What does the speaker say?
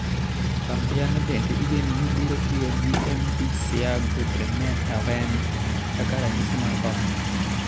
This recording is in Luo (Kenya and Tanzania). Kambiano bende igeno ni biro tiyo gi Mv Seago Bremen Haven kaka ranyisi mar kony.